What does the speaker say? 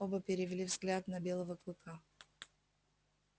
оба перевели взгляд на белого клыка